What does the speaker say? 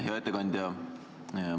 Hea ettekandja!